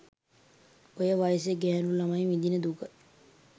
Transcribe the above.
ඔය වයසේ ගෑණු ළමයි විඳින දුක